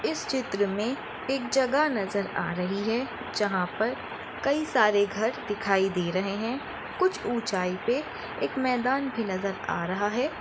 इस चित्र मे एक जगह नज़र आ रही है जहा पर कई सारे घर दिखाई दे रहे है कुछ ऊंचाई पे एक मैदान भी नज़र आ रहा है।